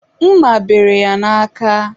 mma bere ya n'aka.